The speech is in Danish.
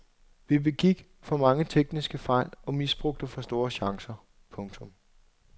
Vi begik for mange tekniske fejl og misbrugte for store chancer. punktum